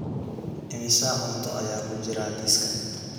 Immisa cunto ayaa ku jira liiska?